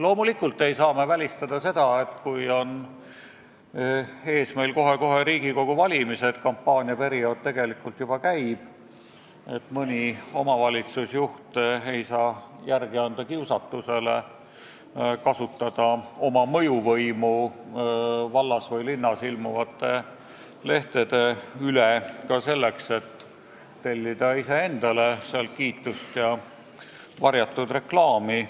Loomulikult ei saa me välistada praegu, kui meil on kohe-kohe ees Riigikogu valimised ja kampaania tegelikult juba käib, et mõni omavalitsusjuht ei anna järele kiusatusele kasutada oma mõjuvõimu vallas või linnas ilmuvate lehtede üle ka selleks, et tellida seal iseendale kiitust ja varjatud reklaami.